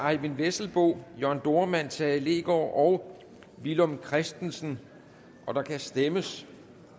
eyvind vesselbo jørn dohrmann tage leegaard og villum christensen og der kan stemmes